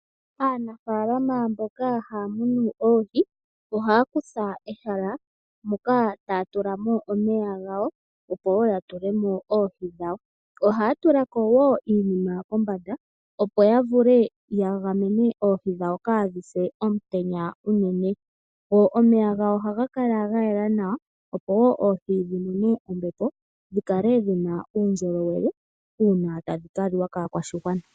Aanfaalama mboka ha ya munu eehi, oha ya kutha ehala moka taya tulamo omeya gawo, opo woo ya tulemo oohi dhawo. Oha ya tulako woo iinima kombada opo ya vule ya gamene oohi dhawo kaadhise omutenya unene. Omeya gawo oha ga kala ga yela nawa, opo woo oohi dhimone ombepo, dhi kale dhina uundjolowele. Uuna tadhi ka liwa kaakwashigwana.